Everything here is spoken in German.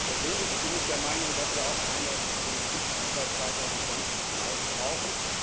Persönlich bin ich der Meinung, dass wir auch eine Politik über 2020 hinaus brauchen.